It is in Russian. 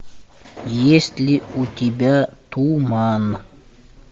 есть ли у тебя туман